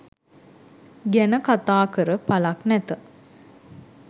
ගැන කතා කර පළක් නැත.